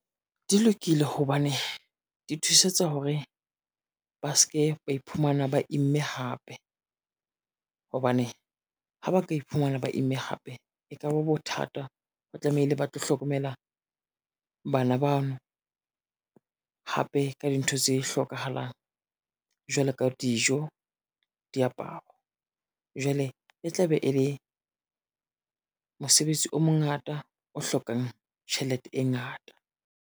Di lokile hobane di thusetsa hore, ba ske ba iphumana ba imme hape. Hobane ha ba ka iphumana ba imme hape e ka ba bothata, ho tlameile ba tlo hlokomela bana bano, hape ka dintho tse hlokahalang jwalo ka dijo, diaparo. Jwale e tla be e le mosebetsi o mongata o hlokang tjhelete e ngata.